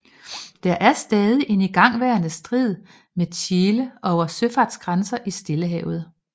Der er stadig en igangværende strid med Chile over søfartsgrænser i Stillehavet